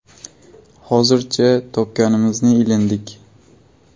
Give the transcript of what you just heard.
Hozircha topganimizni ilindik.